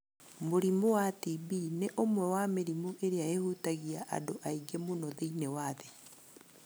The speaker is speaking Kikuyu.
Mũrimũ wa TB nĩ ũmwe wa mĩrimũ ĩrĩa ĩhutagia andũ aingĩ mũno thĩinĩ wa thĩ.